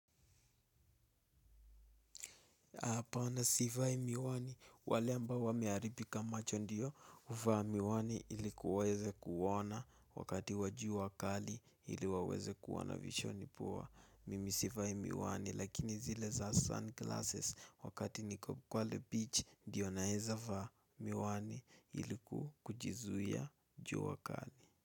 Hapana sivai miwani wale ambao wameharibika macho ndiyo huvaa miwani ili kuweze kuoana wakati wa jua kali ili waweze kuwa na vishoni poa. Mimi sivai miwani lakini zile za sun glasses wakati niko pale beach ndiyo naeza vaa miwani ili kukujizuia juu wakali.